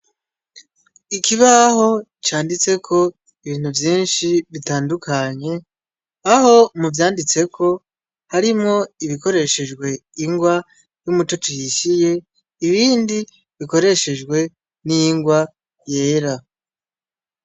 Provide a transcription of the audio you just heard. Ikibaho canditseko ibintu vyinshi bitandukanye aho mu vyanditseko harimwo ibikoreshejwe ingwa y'umutucu yishiye ibindi bikoreshejwe n'ingwa yera.